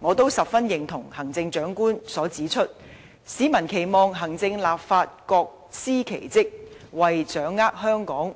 我十分認同行政長官所指出，市民期望行政立法各司其職，為推動香港